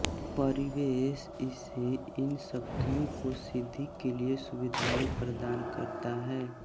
परिवेश उसे इन शक्तियों को सिद्धि के लिए सुविधाएँ प्रदान करता है